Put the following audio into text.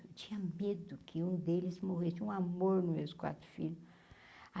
Eu tinha medo que um deles morresse um amor nos meus quatro filhos.